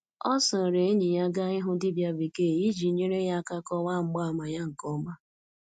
Ọ soro enyi ya gaa ịhụ dibia bekee iji nyere ya aka kọwaa mgbaàmà ya nke ọma.